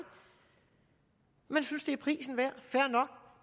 at man synes det er prisen værd